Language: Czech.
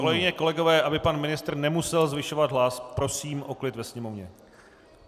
Kolegyně, kolegové, aby pan ministr nemusel zvyšovat hlas, prosím o klid ve sněmovně!